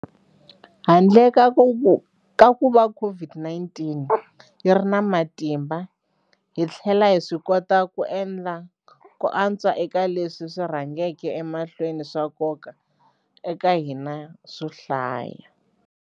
Handle ka kuva COVID-19 yi ri na matimba, hi tlhele hi swikota ku endla ku antswa eka leswi swi rhangaka emahlweni swa nkoka eka hina swo hlaya.